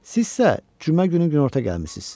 Siz isə cümə günü günorta gəlmisiz.